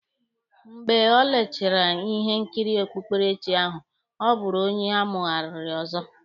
Mgbe o lechara ihe nkiri okpukperechi ahụ, ọ bụrụ onye amụghariri ọzọ